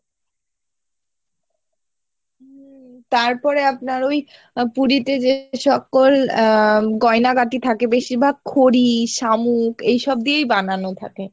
উম তারপরে আপনার ওই আহ পুরীতে যে সকল আহ উম গয়না গাটি থাকে বেশিভাগ খড়ি শামুক এইসব দিয়েই বানানো থাকে